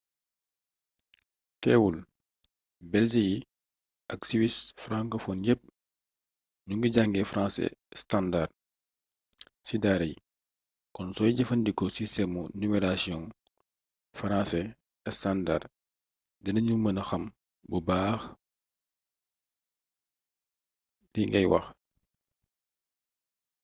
teewul belge yi ak suisse francophone yépp ñu ngi jàngee français standard ci daara yi kon sooy jëfandikoo sistemu numerotasion français standard dina ñu mëna xam bu baa xli ngay wax